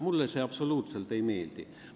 Mulle see absoluutselt ei meeldi.